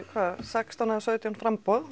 hvað sextán eða sautján framboð